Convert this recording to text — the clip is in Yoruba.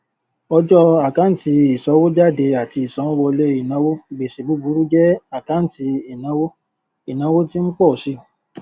ọjọ àkáǹtì ìsanwójáde àti ìsanwówọlé ìnáwó gbèsè búburú jẹ àkáǹtì ìnáwó ìnáwó tí ń pọ si